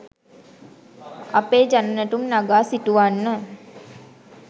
අපේ ජන නැටුම් නගා සිටුවන්න